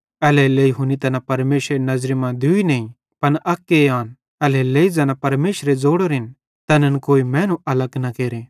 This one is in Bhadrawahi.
एल्हेरेलेइ हुनी तैना परमेशरेरी नज़री मां दूई नईं पन अक्के आन एल्हेरेलेइ ज़ैना परमेशरे ज़ोड़ोरेन तैनन् कोई मैनू अलग न केरे